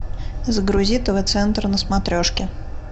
загрузи тв центр на смотрешке